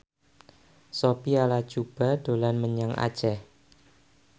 Sophia Latjuba dolan menyang Aceh